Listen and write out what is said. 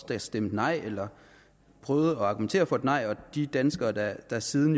der stemte nej eller prøvede at argumentere for et nej og de danskere der der siden